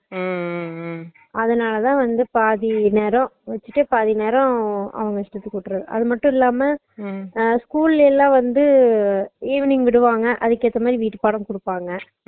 அதனாலதா வந்து பாதி நேரம் வெச்சுட்டு பாதி நேரம் அவுங்க இஷ்டத்துக்கு விட்டறது அது மட்டும் இல்லாம அஹ் school ல எல்ல வந்து அஹ் evening விடுவாங்க அதுக்கு எத்தமாதிரி விட்டு பாடம் குடுப்பாங்க